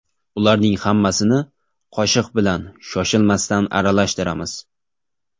Ularning hammasini qoshiq bilan shoshilmasdan aralashtiramiz.